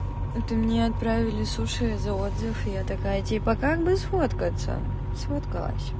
это мне отправили суши за отзыв я такая типа как бы сфоткаться сфоткалась